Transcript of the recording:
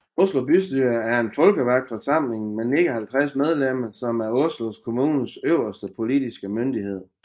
Oslo bystyre er en folkevalgt forsamling med 59 medlemmer som er Oslo kommunes øverste politiske myndighed